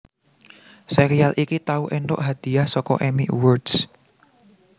Sèrial iki tau éntuk hadiah saka Emmy Awards